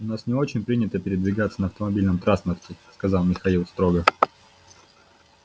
у нас не очень принято передвигаться на автомобильном транспорте сказал михаил строго